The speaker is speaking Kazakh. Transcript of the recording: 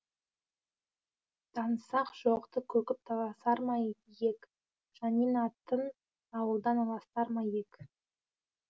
танысақ жоқты көкіп таласар ма ек шанин атын ауылдан аластар ма ек